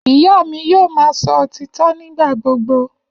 Iya mi yoo ma sọ ​​otitọ nigbagbogbo.